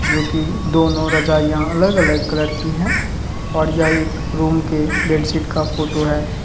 जोकि दोनों रजाइयां अलग-अलग कलर की है और यह एक रूम के बेडशीट का फोटो है।